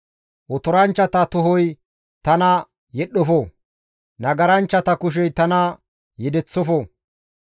Otoranchchata tohoy tana yedhdhofo; nagaranchchata kushey tana yedeththofo.